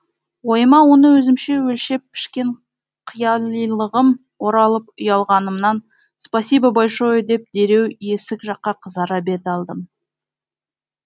ойыма оны өзімше өлшеп пішкен қиялилығым оралып ұялғанымнан спасибо большое деп дереу есік жаққа қызара бет алдым